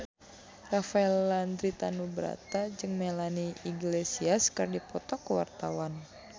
Rafael Landry Tanubrata jeung Melanie Iglesias keur dipoto ku wartawan